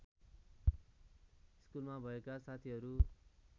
स्कुलमा भएका साथीहरू